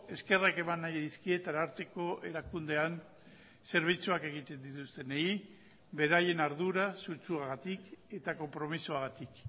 eskerrak eman nahi dizkiet ararteko erakundean zerbitzuak egiten dituztenei beraien ardura sutsuagatik eta konpromisoagatik